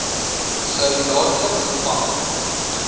sou dadelik gevange